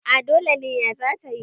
a dole ne ya za ta yi